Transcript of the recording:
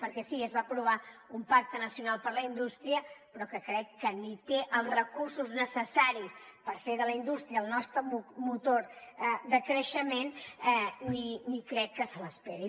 perquè sí es va aprovar un pacte nacional per la indústria però que crec que ni té els recursos necessaris per fer de la indústria el nostre motor de creixement ni crec que se’ls esperi